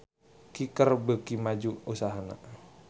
Kicker beuki maju usahana